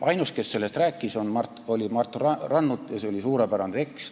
Ainus, kes sellest rääkis, oli Mart Rannut ja see oli suurepärane tekst.